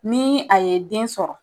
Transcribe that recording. Ni a ye den sɔrɔ.